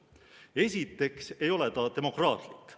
Esiteks ei ole see demokraatlik.